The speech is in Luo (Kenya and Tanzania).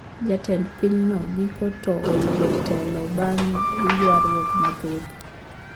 Jatend piny no giko to oyudo ntelo bang` yuaruok mathoth